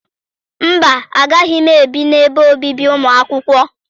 Mba, agaghị m ebi n'ebe obibi ụmụ akwụkwọ.